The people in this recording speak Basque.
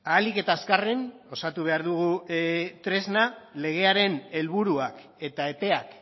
ahalik eta azkarren osatu behar dugu tresna legearen helburuak eta epeak